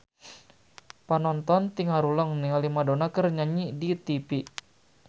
Panonton ting haruleng ningali Madonna keur nyanyi di tipi